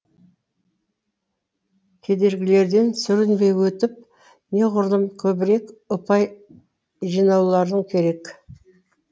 кедергілерден сүрінбей өтіп неғұрлым көбірек ұпай жинауларын керек